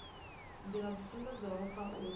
nḓila dzo sumbedzwaho kha uyu